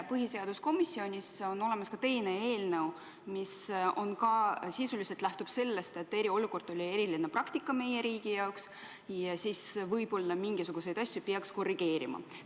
Põhiseaduskomisjonis on olemas ka teine eelnõu, mis sisuliselt lähtub sellest, et eriolukord oli eriline praktika meie riigi jaoks ja võib-olla peaks mingisuguseid asju korrigeerima.